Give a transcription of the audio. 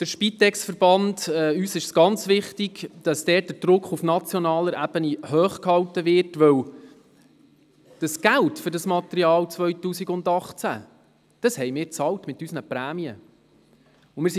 Uns ist es sehr wichtig, den Druck beim SpitexVerband auf nationaler Ebene hochzuhalten, denn wir haben das 2018 benutzte Material mit unseren Prämien bezahlt.